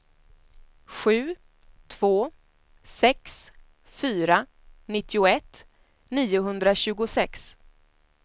sju två sex fyra nittioett niohundratjugosex